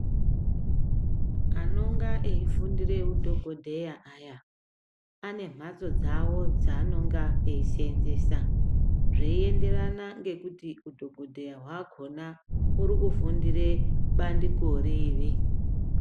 Anonga eifundire udhokodheya aya ane mphatso dzawo dzaanonga eiseenzesa zveienderana ngokuti udhokodheya hwakona uri kufundira bandiko riri.